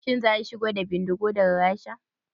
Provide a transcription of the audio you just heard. Shin za a shigo da bindigogin daga Rasha?